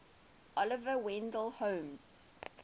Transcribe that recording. oliver wendell holmes